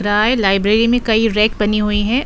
रहा है। लाइब्रेरी में कई रैक बनी हुई हैं।